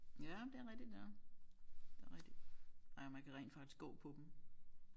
Ja det er rigtigt ja det er rigtigt ja man kan rent faktisk gå på dem